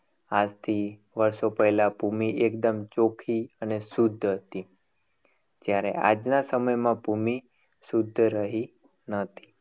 આજથી વર્ષો પહેલા ભૂમિ એકદમ ચોખ્ખી અને શુદ્ધ હતી. જ્યારે આજના સમયમાં ભૂમિ શુદ્ધ રહી નથી.